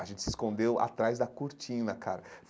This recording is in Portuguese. A gente se escondeu atrás da cortina, cara.